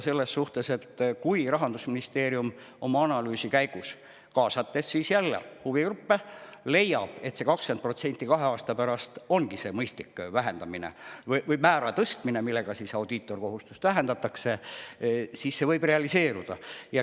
Selles mõttes, et kui Rahandusministeerium oma analüüsi käigus, kaasates jälle huvigruppe, leiab, et see 20% kahe aasta pärast ongi see mõistlik määra tõstmine, millega audiitorkohustust vähendatakse, siis see võib realiseeruda.